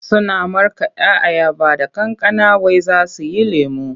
Suna markaɗa ayaba da kankana wai za su yi lemo.